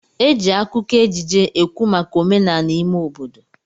Eji akụkọ ejije ekwu maka omenala ime obodo.